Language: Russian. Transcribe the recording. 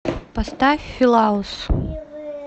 поставь филаус